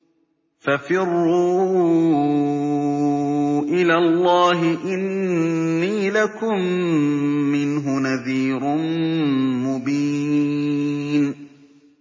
فَفِرُّوا إِلَى اللَّهِ ۖ إِنِّي لَكُم مِّنْهُ نَذِيرٌ مُّبِينٌ